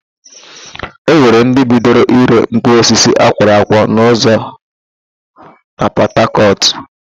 E nwere ndị bidoro ịre mkpụrụosisi akwọrọ akwọ n'ụzọ na Pọtakọtụ